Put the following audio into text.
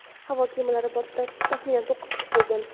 Havo kemalari bortida taxminan to‘qqiz kishi bo‘lgan.